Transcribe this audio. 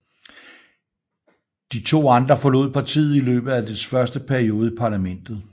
De to andre forlod partiet i løbet af dets første periode i parlamentet